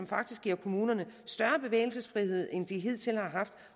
faktisk giver kommunerne større bevægelsesfrihed end de hidtil har haft